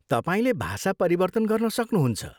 तपाईँले भाषा परिवर्तन गर्न सक्नहुन्छ।